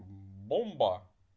бомба